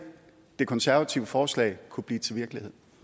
det konservative forslag kunne blive til virkelighed